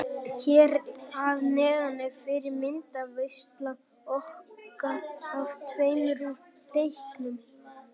Hér að neðan er fyrri myndaveisla okkar af tveimur úr leiknum.